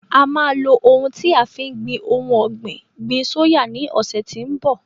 A máa lo ohun tí a fi ń gbin ohun ọ̀gbìn gbin sóyà ní ọ̀sẹ́ tí ń bọ̀.